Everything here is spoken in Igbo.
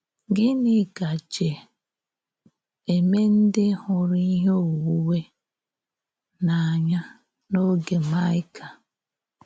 Gịnị gàjè ímé ǹdí hụrụ̀ íhè ónwúnwé n’ànỳà n’ógè Maịka?